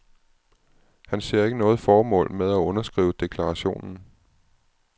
Han ser ikke noget formål med at underskrive deklarationen.